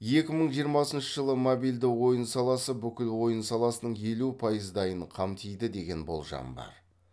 екі мың жиырмасыншы жылы мобилді ойын саласы бүкіл ойын саласының елу пайыздайын қамтиды деген болжам бар